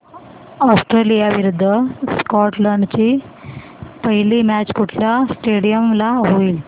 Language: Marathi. ऑस्ट्रेलिया विरुद्ध स्कॉटलंड ची पहिली मॅच कुठल्या स्टेडीयम ला होईल